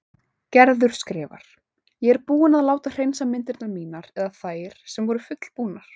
Gerður skrifar: Ég er búin að láta hreinsa myndirnar mínar eða þær sem voru fullbúnar.